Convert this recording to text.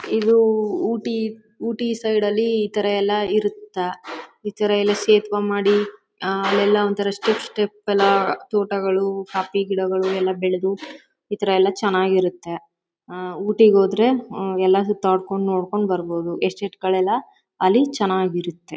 ಇದು ಊಟಿ ಊಟಿ ಸೈಡ್ ಲಿ ಈ ತರ ಎಲ್ಲ ಇರುತ್ತೆ. ಈ ತರ ಎಲ್ಲ ಶೇಪ್ ಮಾಡಿ ಅಲ್ಲೆಲ್ಲ ಒಂತರ ಸ್ಟೆಪ್ ಸ್ಟೆಪ್ ಎಲ್ಲ ತೋಟಗಳು ಕಾಫಿ ಗಿಡಗಳು ಎಲ್ಲ ಬೆಳೆದು . ಈ ತರ ಎಲ್ಲ ಚೆನ್ನಾಗಿರುತ್ತೆ . ಆ ಊಟಿಗೆ ಹೋದ್ರೆ ಎಲ್ಲದನ್ನು ತಾಕ್ಕೊಂದು ನೋಡ್ಕೊಂಡು ಬರ್ಬೋದು ಎಸ್ಟೇಟ್ ಗಳೆಲ್ಲ ಅಲ್ಲಿ ಚೆನ್ನಾಗಿರತ್ತೆ.